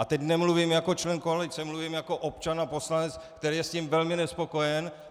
A teď nemluvím jako člen koalice, mluvím jako občan a poslanec, který je s tím velmi nespokojen.